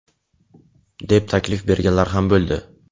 deb taklif berganlar ham bo‘ldi.